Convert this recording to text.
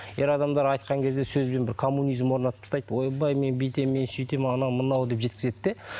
ер адамдар айтқан кезде сөзбен бір коммунизм орнатып тастайды ойбай мен бүйтемін мен сүйтемін анау мынау деп жеткізеді де